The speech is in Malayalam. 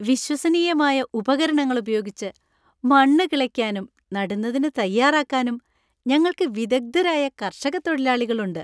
വിശ്വസനീയമായ ഉപകരണങ്ങൾ ഉപയോഗിച്ച് മണ്ണ് കിളയ്ക്കാനും നടുന്നതിന് തയ്യാറാക്കാനും ഞങ്ങൾക്ക് വിദഗ്ധരായ കർഷക തൊഴിലാളികൾ ഉണ്ട്.